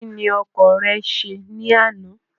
Kí ni ọkàn rẹ ṣe ní àná?